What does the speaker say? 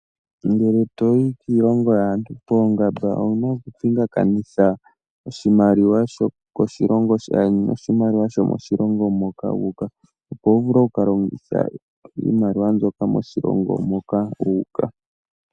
Ngele toyi kiilongo yaantu poongamba owuna okupingakanitha oshimaliwa shokoshilongo shaandjeni noshimaliwa shomoshilongo moka wu uka opo wu vule okukalongitha iimaliwa mbyoka moshilongo moka wu uka.